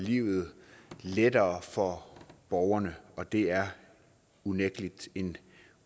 livet lettere for borgerne og det er unægtelig en